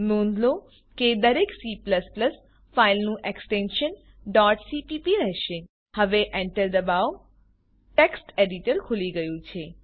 નોંધ લો કે દરેક C ફાઈલોનું એક્સટેન્શન cpp રહેશે હવે Enter દબાવો ટેક્સ્ટ એડીટર ખુલી ગયું છે